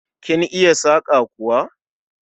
Kin iya saƙa kuwa?